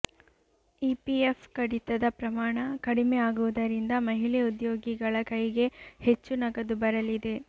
EPF ಕಡಿತದ ಪ್ರಮಾಣ ಕಡಿಮೆ ಆಗುವುದರಿಂದ ಮಹಿಳೆ ಉದ್ಯೋಗಿಗಳ ಕೈಗೆ ಹೆಚ್ಚು ನಗದು ಬರಲಿದೆ